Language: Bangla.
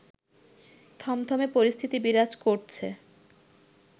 থমথমে পরিস্থিতি বিরাজ করছে